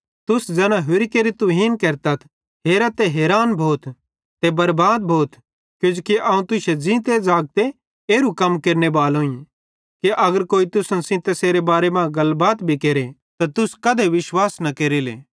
तुस ज़ैना होरि केरि तुहीन केरतथ हेरा ते हैरान भोथ ते बरबाद भोथ किजोकि अवं तुश्शे ज़ींते ज़ागते एरू कम केरनेबालोईं कि अगर कोई तुसन सेइं तैसेरे बारे मां गलबात भी केरे त तुस कधे विश्वास न केरेले